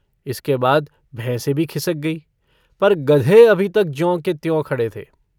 इसके बाद भैंसें भी खिसक गईं पर गधे अभी तक ज्यों के त्यों खड़े थे।